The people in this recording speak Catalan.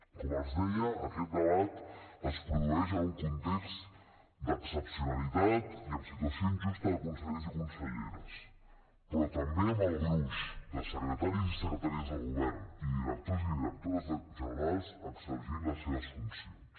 com els deia aquest debat es produeix en un context d’excepcionalitat i amb situació injusta de consellers i conselleres però també amb el gruix de secretaris i secretàries del govern i directors i directores generals exercint les seves funcions